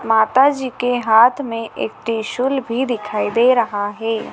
माता जी के हाथ में एक त्रिशूल भी दिखाई दे रहा है।